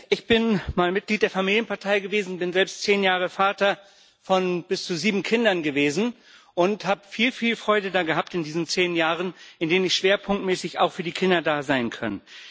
Ich bin mal Mitglied der Familienpartei gewesen, bin selbst zehn Jahre Vater von bis zu sieben Kindern gewesen und habe viel Freude daran gehabt in diesen zehn Jahren, in denen ich schwerpunktmäßig auch für die Kinder da sein konnte.